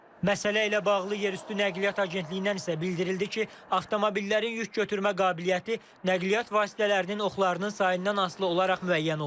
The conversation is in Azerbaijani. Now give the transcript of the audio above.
Məsələ ilə bağlı Yerüstü Nəqliyyat Agentliyindən isə bildirildi ki, avtomobillərin yük götürmə qabiliyyəti nəqliyyat vasitələrinin oxlarının sayından asılı olaraq müəyyən olunur.